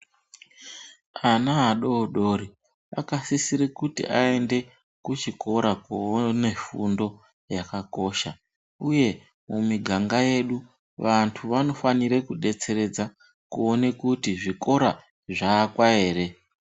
Ana adoodore akasisire kuti aende kuchikora kundoone fundo yakakosha uye mumiganga yedu vantu vanofanire kudetseredza kuone kuti zvikora zvaakwa here?